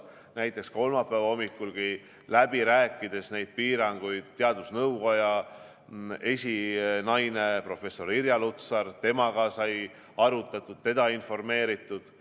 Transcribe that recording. Näiteks kolmapäeva hommikulgi, kui me rääkisime läbi ja arutasime neid piiranguid, siis sai teadusnõukoja esinaise professor Irja Lutsariga arutatud, sai teda informeeritud.